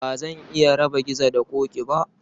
Ba zan iya raba Gizo da Ƙoƙi ba